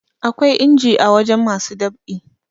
akwai inji a waje masu ɗab'i